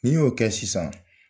N'i y'o kɛ sisan